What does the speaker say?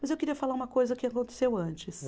Mas eu queria falar uma coisa que aconteceu antes.